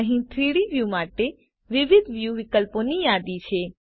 અહીં 3ડી વ્યુ માટે વિવિધ વ્યુ વિકલ્પોની યાદી છે